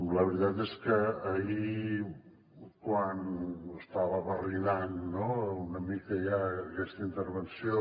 la veritat és que ahir quan estava barrinant no una mica ja aquesta intervenció